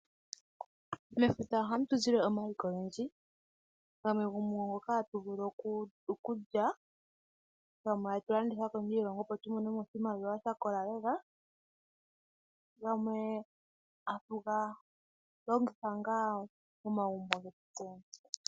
Mefuta ohamutuzile omaliko ogendji, gamwe ohatuvulu oku galya, gamwe atulanditha kondje yiilongo tse tumone mo oshimaliwa shakola nawa na gamwe atu galongitha momagumbo getu.